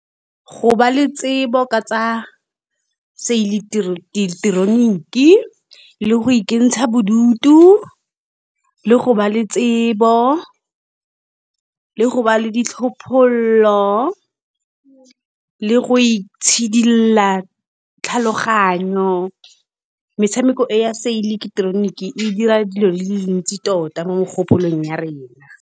Go ba le tsebo ka tsa seileteroniki le go ikentsha bodutu, le go ba le tsebo le go ba le ditlhophololo, le go itshidila tlhaloganyo, metshameko e ya seileketeroniki e dira dilo di le dintsi tota mo mogopolong ya rena.